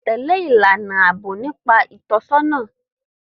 Tẹ̀lé ìlànà ààbò nígbà ìtọ́jú ọkọ̀ ojú omi